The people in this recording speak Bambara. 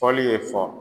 Fɔli ye fɔ